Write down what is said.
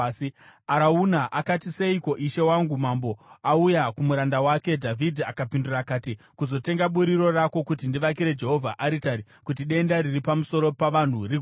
Arauna akati, “Seiko ishe wangu mambo auya kumuranda wake?” Dhavhidhi akapindura akati, “Kuzotenga buriro rako, kuti ndivakire Jehovha aritari, kuti denda riri pamusoro pavanhu rigume.”